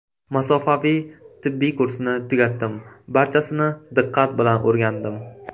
Masofaviy tibbiy kursni tugatdim, barchasini diqqat bilan o‘rgandim.